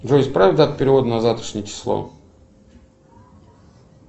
джой исправь дату перевода на завтрашнее число